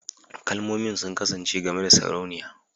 Kalmomin sun kasance game da Sarauniya